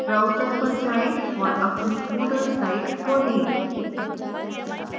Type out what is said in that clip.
browser पर जाएँ और अपनी moodle site खोलें